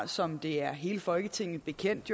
som det er hele folketinget bekendt